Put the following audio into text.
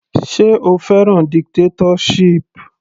Sé o fẹ́ràn dictatorship.